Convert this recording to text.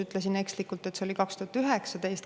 Ütlesin ekslikult, et see oli 2019. aastal.